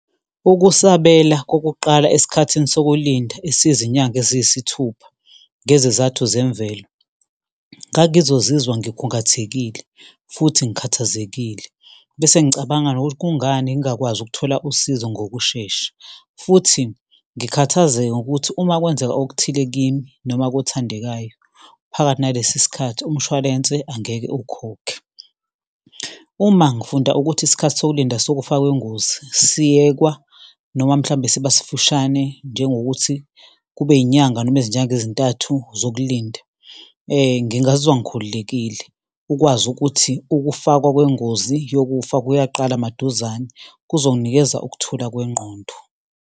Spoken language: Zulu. Ukusabela kokuqala esikhathini sokulinda esiyizinyanga eziyisithupha ngezizathu zemvelo, ngangizozizwa ngikhungathekile futhi ngikhathazekile, bese ngicabanga nokuthi kungani ngingakwazi ukuthola usizo ngokushesha, futhi ngikhathazeke ngokuthi uma kwenzeka okuthile kimi, noma-ke othandekayo phakathi nalesi sikhathi, umshwalense angeke ukhokhe. Uma ngifunda ukuthi isikhathi sokulinda sokufaka ingozi siyekwa noma mhlawumbe siba sifishane, njengokuthi kube inyanga noma izinyanga ezintathu zokulinda, ngingazizwa ngikhululekile ukwazi ukuthi ukufakwa kwengozi yokufaka kuyaqala maduzane. Kuzonginikeza ukuthula kwengqondo.